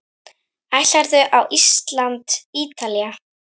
Ætlarðu á Ísland- Ítalía?